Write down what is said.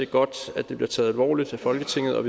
godt at det bliver taget alvorligt af folketinget og